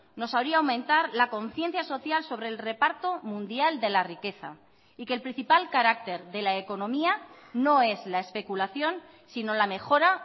nos haría aumentar la conciencia social sobre el reparto mundial de la riqueza y que el principal carácter de la economía no es la especulación sino la mejora